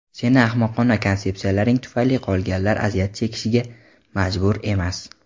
Seni ahmoqona konsepsiyalaring tufayli qolganlar aziyat chekishga majbur emas.